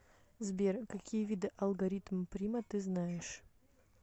сбер какие виды алгоритм прима ты знаешь